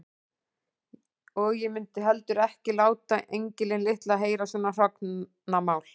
Og ég mundi heldur ekki láta engilinn litla heyra svona hrognamál.